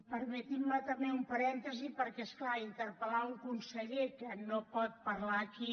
permetin me també un parèntesi perquè és clar interpel·lar un conseller que no pot parlar aquí